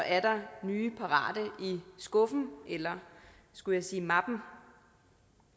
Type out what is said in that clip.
er der nye parat i skuffen eller skulle jeg sige mappen